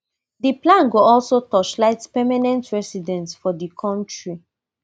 di plan go also torchlight permanent residents for di kontri